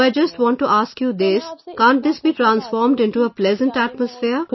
So I just want to ask you this, can't this be transformed into a pleasant atmosphere